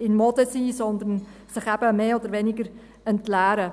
in Mode sind, sondern sich eben mehr oder weniger entleeren.